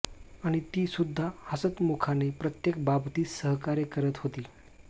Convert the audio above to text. आणि ती सुद्धा हसतमुखपणे प्रत्येक बाबतीत सहकार्य करत होती